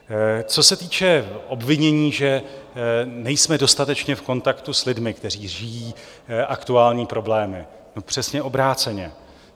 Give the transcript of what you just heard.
Co se týče obvinění, že nejsme dostatečně v kontaktu s lidmi, kteří žijí aktuální problémy: no přesně obráceně.